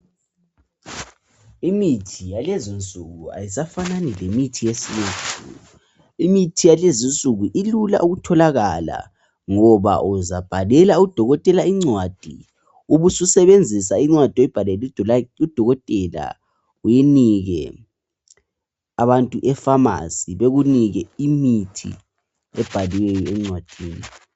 Imithi yalezinsuku ayisafanani lemithi yesilungu. Imithi yalezinsuku ilula ukutholakala ngoba uzabhalela udokotela incwadi ubususenzisa incwadi oyibhalele udokotela uyinike abantu efamasi, bekunike imithi ebhaliweyo encwadini.